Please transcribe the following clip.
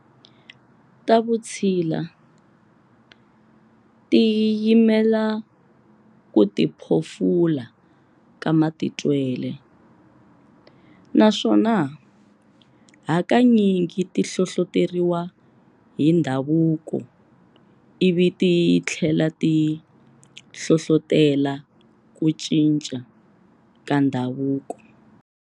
Ta Vutshila ti yimela kutiphofula ka matitwele, naswona hakanyingi ti hlohloteriwa hi ndhavuko ivi tithlela ti hlohlotela ku cinca ka ndhavuko.